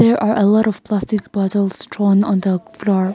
there are a lot of plastic bottles store on the floor.